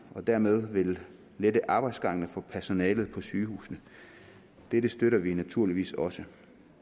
dermed vil man lette arbejdsgangene for personalet på sygehusene dette støtter vi naturligvis også